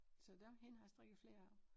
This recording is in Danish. Så der hende har jeg strikket flere af